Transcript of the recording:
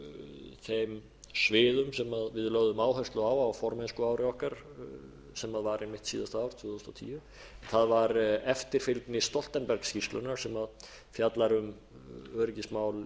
sviðum sem við lögðum áherslu á á formennskuári okkar sem var einmitt síðasta ár tvö þúsund og tíu það var eftirfylgni stoltenbergsskýrslunnar sem fjallar um öryggismál